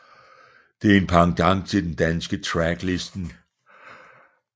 Det er en pendant til den danske Tracklisten